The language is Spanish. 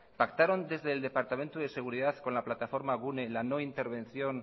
pactaron desde el departamento de seguridad con la plataforma gune la no intervención